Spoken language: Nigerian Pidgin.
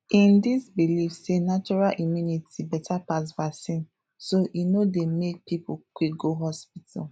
e dis believe sey natural immunity better pass vaccine so e no dey make people quick go hospital